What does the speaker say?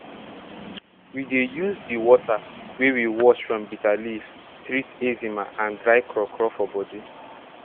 we dey use di water wey we wash from bitter leaf treat eczema and dry crawcraw for body